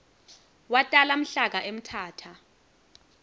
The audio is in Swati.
watala mhlaka emthatha